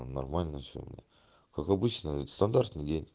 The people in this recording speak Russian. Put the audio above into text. нормально все как обычно стандартный день